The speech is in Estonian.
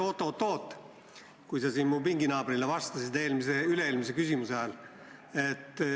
See oli siis, kui sa mu pinginaabrile vastasid üle-eelmise küsimuse ajal.